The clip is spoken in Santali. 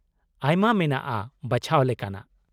ᱟᱭᱢᱟ ᱢᱮᱱᱟᱜᱼᱟ ᱵᱟᱪᱷᱟᱣ ᱞᱮᱠᱟᱱᱟᱜ ᱾